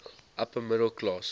upper middle class